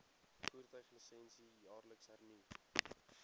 voertuiglisensie jaarliks hernu